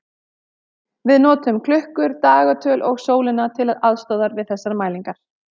Við notum klukkur, dagatöl og sólina til aðstoðar við þessar mælingar.